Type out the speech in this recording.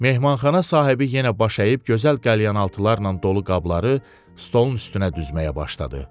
Mehmanxana sahibi yenə baş əyib gözəl qəlyanaltılarla dolu qabları stolun üstünə düzməyə başladı.